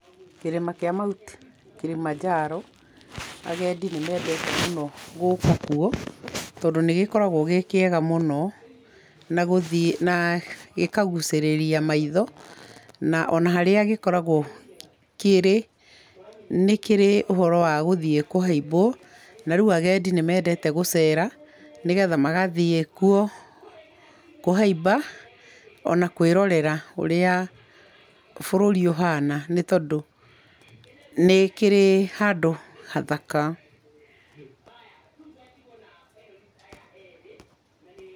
Kĩrĩma kĩa mount kĩrĩmanjaro, agendi nĩ mendete mũno gũuka kuo tondũ nĩgĩkoragwo gĩkĩega mũno na gũthiĩ nagĩkagũcĩrĩria maitho na ona harĩa gĩkoragwo kĩrĩ nĩkĩrĩ ũhoro wagũthie kũhaibwo, na rĩu agendi nĩ mendete mũno gũcera, nĩgetha magathiĩ kuo, kũhaiba ona kana kwĩrorera ũrĩa bũrũri ũhana , nĩ kĩrĩ handũ hathaka.